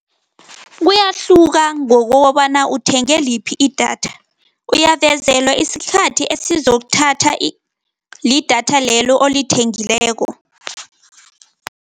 Kuyahluka ngokobana uthenge liphi idatha. Uyavezelwe isikhathi esizokuthatha lidatha lelo olithengileko.